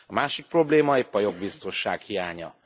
A másik probléma épp a jogbiztonság hiánya.